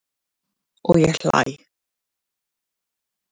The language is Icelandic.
Og ég hlæ.